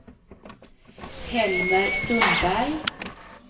Helmer Sundberg